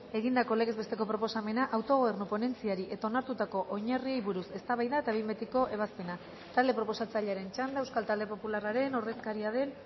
egindako legez besteko proposamena autogobernu ponentziari eta onartutako oinarriei buruz eztabaida eta behin betiko ebazpena talde proposatzailearen txanda euskal talde popularraren ordezkaria den